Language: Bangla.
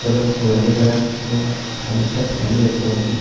হলো গোলাপি কালার এবং সামনে একটা ফ্যান -ও দেখতে পাচ্ছি।